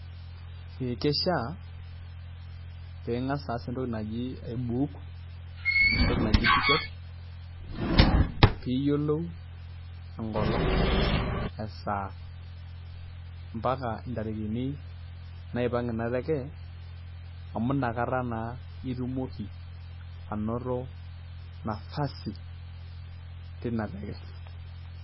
Keishaa ping'as aas entoki najii aibuk entoki naji ticket piyiolou enkolong, eesaa mpaka ntarikini naipang' ina teke amu inakataa naa itumoki anoto nafasi tene teke.